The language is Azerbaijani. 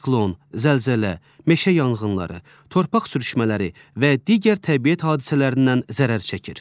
Siklon, zəlzələ, meşə yanğınları, torpaq sürüşmələri və digər təbiət hadisələrindən zərər çəkir.